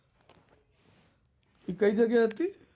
એ કઈ જગ્યા એ હતી?